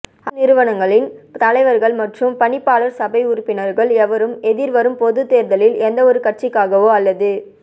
அரச நிறுவனங்களின் தலைவர்கள் மற்றும் பணிப்பாளர் சபை உறுப்பினர்கள் எவரும் எதிர்வரும் பொதுத்தேர்தலில் எந்தவொரு கட்சிக்காகவோ அல்லது